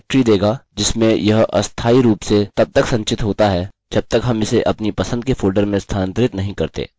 यह हमें डाईरेक्टारी देगा जिसमें यह अस्थायी रूप से तब तक संचित होता है जब तक हम इसे अपनी पसंद के फोल्डर में स्थानान्तरित नहीं करते